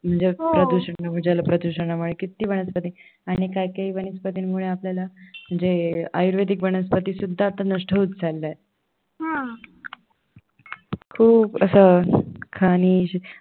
जल प्रदूषणामुळे किती तरी वनस्पती आणि काही काही वनस्पतींमुळे आपल्याला म्हणजे आयुर्वेदिक वनस्पती सुद्धा आता नष्ट होत चालल्या आहे खूप असं